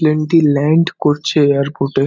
Plane - টি land করছে airport -এ।